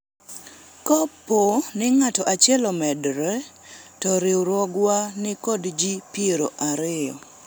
kapo ni ng'at achiel omedore to riwruogwa nikod jii piero ariyo